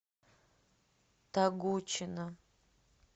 тогучина